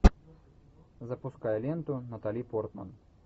запускай ленту натали портман